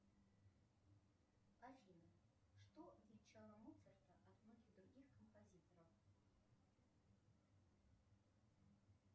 афина что отличало моцарта от многих других композиторов